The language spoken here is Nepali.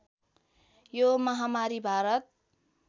यो महामारी भारत